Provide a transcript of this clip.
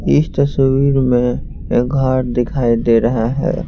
इस तस्वीर में एक घर दिखाई दे रहा है।